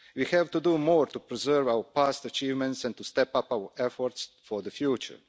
We have to do more to preserve our past achievements and to step up our efforts for the future.